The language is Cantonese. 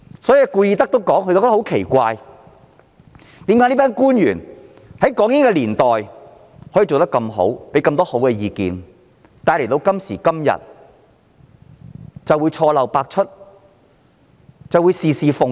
奇怪的是，在港英年代表現優秀的官員，過往亦能提出很好的意見，但今時今日卻錯漏百出，事事奉迎。